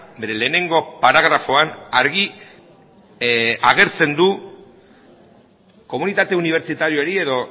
bere lehenengo paragrafoan argi agertzen du komunitate unibertsitariori edo